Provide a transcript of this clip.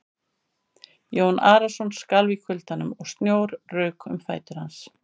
Jón Arason skalf í kuldanum og snjór rauk um fætur hans.